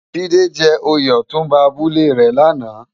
Jide jè óyé òtúnbá àbúlé rè làná